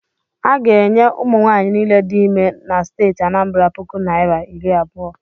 A ga-enye ụmụnwaanyị niile dị ime na steeti Anambara puku naira iri abụọ.